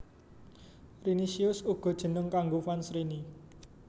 Rinicious uga jeneng kanggo fans Rini